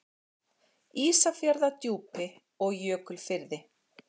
Ísafjarðardjúpi og Jökulfirði.